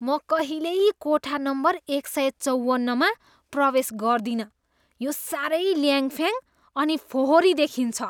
म कहिल्यै कोठा नम्बर एक सय चौवन्नमा प्रवेश गर्दिनँ, यो साह्रै ल्याङफ्याङ अनि फोहोरी देखिन्छ।